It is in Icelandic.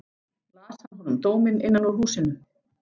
Las hann honum dóminn innan úr húsinu.